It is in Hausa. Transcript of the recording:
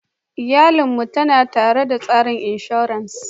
Iyalin mu tanada tsarin inshora.